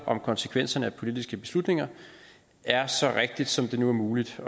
om konsekvenserne af politiske beslutninger er så rigtigt som det nu er muligt at